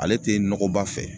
Ale tɛ nɔgɔba fɛ